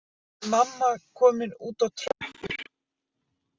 Nú er mamma komin út á tröppur.